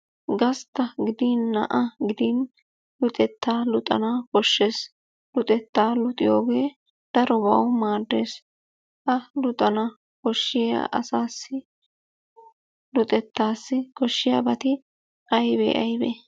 Gastta gidin na'a gidin luxetta luxana koshshees. Luxettaa luxiyogee darobawu maaddees. Ha luxana koshiya asaassi luxettaassi koshshiyabati aybee aybee?